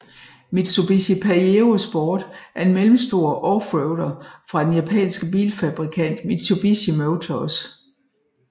Mitsubishi Pajero Sport er en mellemstor offroader fra den japanske bilfabrikant Mitsubishi Motors